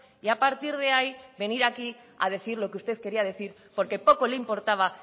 y a partir de ahí venir aquí a decir lo que usted quería decir porque poco le importaba